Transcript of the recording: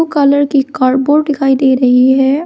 Colour की cardboard दिखाई दे रही है।